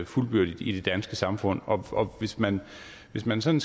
fuldbyrdigt i det danske samfund og hvis man hvis man sådan